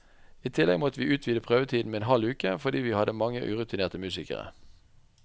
I tillegg måtte vi utvide prøvetiden med en halv uke, fordi vi hadde mange urutinerte musikere.